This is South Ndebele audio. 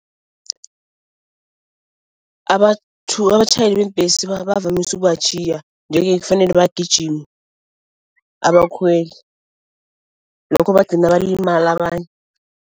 abatjhayeli beembhesi bavamise ukubatjhiya nje-ke kufanele bagijime abakhweli, lokho bagcina balimala abanye.